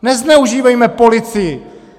Nezneužívejme policii.